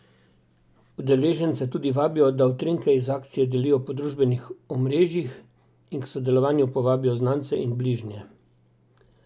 Udeležence tudi vabijo, da utrinke iz akcije delijo po družbenih omrežij in k sodelovanju povabijo znance in bližnje.